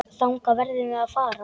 Þangað verðum við að fara.